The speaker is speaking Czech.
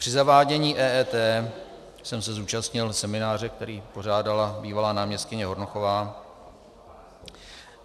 Při zavádění EET jsem se zúčastnil semináře, který pořádala bývalá náměstkyně Hornochová.